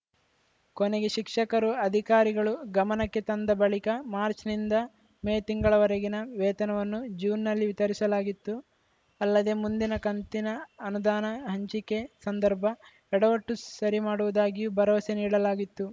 ಕೊನೆಗೆ ಶಿಕ್ಷಕರು ಅಧಿಕಾರಿಗಳು ಗಮನಕ್ಕೆ ತಂದ ಬಳಿಕ ಮಾರ್ಚ್ ನಿಂದ ಮೇ ತಿಂಗಳವರೆಗಿನ ವೇತನವನ್ನು ಜೂನ್‌ನಲ್ಲಿ ವಿತರಿಸಲಾಗಿತ್ತು ಅಲ್ಲದೆ ಮುಂದಿನ ಕಂತಿನ ಅನುದಾನ ಹಂಚಿಕೆ ಸಂದರ್ಭ ಎಡವಟ್ಟು ಸರಿ ಮಾಡುವುದಾಗಿಯೂ ಭರವಸೆ ನೀಡಲಾಗಿತ್ತು